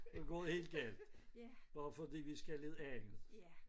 Så går det helt galt bare fordi vi skal noget andet